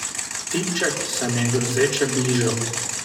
Tipček se mi je grozeče bližal.